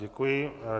Děkuji.